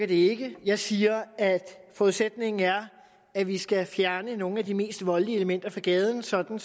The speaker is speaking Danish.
virker jeg siger at forudsætningen er at vi skal fjerne nogle af de mest voldelige elementer fra gaden sådan